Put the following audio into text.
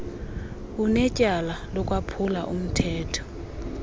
unetyala lokwaphula umthetho